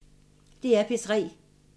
DR P3